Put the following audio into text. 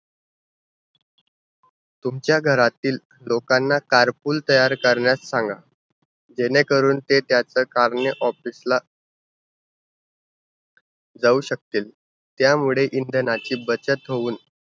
तुमच्या घरातील लोकांना car pull तयार करण्यास सांगा. जेणेकरून ते त्याच car ने office ला जाऊ शकतील. त्यामुळे इंधनाची बचत होऊन